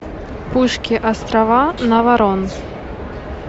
пушки острова наварон